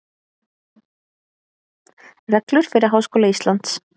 Reglur fyrir Háskóla Íslands.